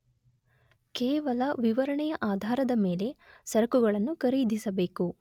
ಕೇವಲ ವಿವರಣೆಯ ಆಧಾರದ ಮೇಲೆ ಸರಕುಗಳನ್ನು ಖರೀದಿಸಬೇಕು